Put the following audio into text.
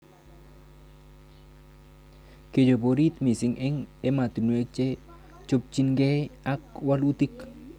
Kechut orit mising' eng' ematinwek che chopchinikei ak walutik